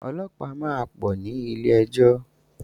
Ọlọ́pàá máa pọ̀ ní ilé-ejọ́.